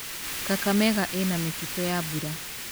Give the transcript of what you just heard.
Kakamega ĩna mĩtitũ ya mbura.